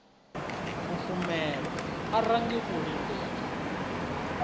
fhufhumelwa a range u lindela